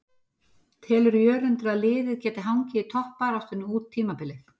Telur Jörundur að liðið geti hangið í toppbaráttunni út tímabilið?